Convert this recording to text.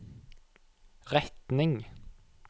retning